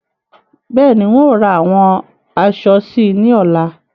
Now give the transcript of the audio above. Bẹ́ẹ̀ni, ń ó ra àwọn aṣọ síí ni ọ̀la